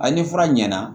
A ni fura ɲɛna